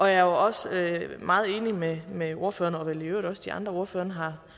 jeg er også meget enig med med ordføreren og vel i øvrigt også de andre ordførere